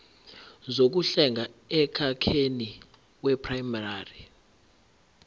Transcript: zokuhlenga emkhakheni weprayimari